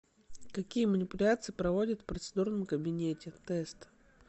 какие манипуляции проводят в процедурном кабинете тест